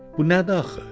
Bu nədir axı?